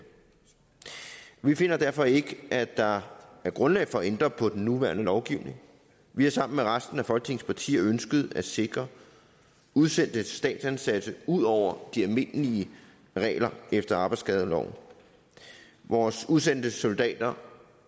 vi finder derfor ikke at der er grundlag for at ændre på den nuværende lovgivning vi har sammen med resten af folketingets partier ønsket at sikre udsendte statsansatte ud over de almindelige regler efter arbejdsskadeloven vores udsendte soldater